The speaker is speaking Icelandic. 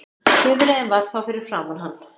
Bifreiðin var þá fyrir framan hann